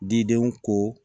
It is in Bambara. Didenw ko